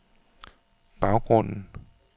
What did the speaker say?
baggrunden